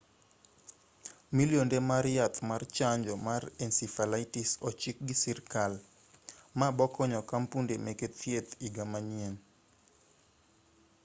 millionde mar yath mar chanjo mar encephalitis ochikgi sirikal ma bokonyo kampunde meke thieth iga manyien